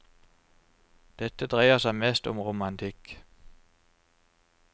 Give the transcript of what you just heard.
Dette dreier seg mest om romantikk.